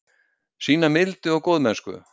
Sýna mildi og góðmennsku.